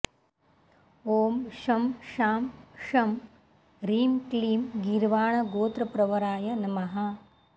ॐ शं शां षं ह्रीं क्लीं गीर्वाणगोत्रप्रवराय नमः